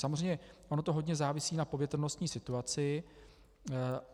Samozřejmě ono to hodně závisí na povětrnostní situaci.